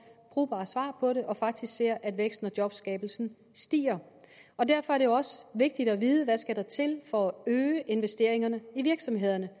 brugbart svar på det og faktisk ser at væksten og jobskabelsen stiger og derfor er det også vigtigt at vide hvad der skal til for at øge investeringerne i virksomhederne